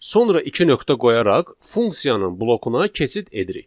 Sonra iki nöqtə qoyaraq funksiyanın blokuna keçid edirik.